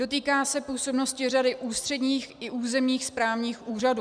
Dotýká se působnosti řady ústředních i územních správních úřadů.